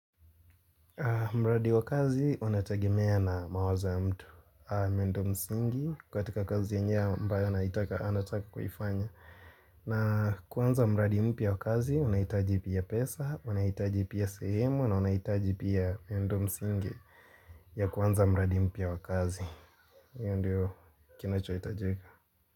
Mradi wakazi unatagemea na mawazo ya mtu Mendo msingi kwa tika kazi ya njiw ambayo anataka kwaifanya na kuanza mradi mpya wakazi unahitaji pia pesa unahitaji pia sehemu na unahitaji pia mendo msingi ya kuanza mradi mpya wakazi hio ndiyo kinacho hiitajika.